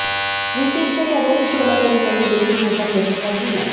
रितेशच्या या रोड शोला तरुणांनी देखील मोठा प्रतिसाद दिला